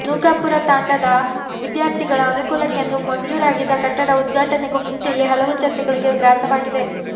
ನೂಕಾಪುರತಾಂಡಾದ ವಿದ್ಯಾರ್ಥಿಗಳ ಅನುಕೂಲಕ್ಕೆಂದು ಮಂಜೂರಾಗಿದ್ದ ಕಟ್ಟಡ ಉದ್ಘಾಟನೆಗೂ ಮುಂಚೆಯೇ ಹಲವು ಚರ್ಚೆಗಳಿಗೆ ಗ್ರಾಸವಾಗಿದೆ